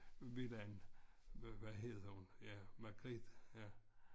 Villaen hvad hedder ja hun Margrethe ja